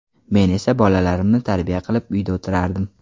Men esa bolalarimni tarbiya qilib uyda o‘tirardim.